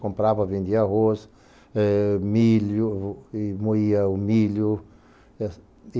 Comprava, vendia arroz, eh, milho e moía o milho.